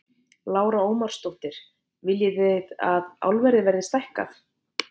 Lára Ómarsdóttir: Viljið þið að álverið verði stækkað?